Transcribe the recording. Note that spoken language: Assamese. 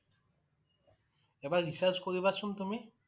এবাৰ research কৰিবা চোন তুমি